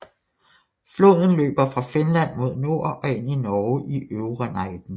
Floden løber fra Finland mod nord og ind i Norge i Øvre Neiden